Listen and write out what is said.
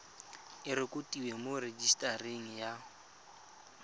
e rekotiwe mo rejisetareng ya